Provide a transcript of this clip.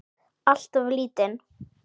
Alltof lítinn.